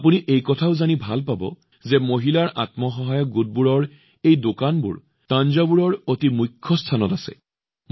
আপোনালোকে এইটোও জানিব বিচাৰে যে মহিলাৰ আত্মসহায়ক গোটবোৰৰ এই দোকানবোৰ থাঞ্জাভুৰৰ এক অতিশয় মুখ্য স্থানত মুকলি কৰা হৈছে